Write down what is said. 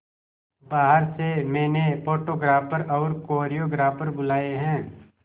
बाहर से मैंने फोटोग्राफर और कोरियोग्राफर बुलाये है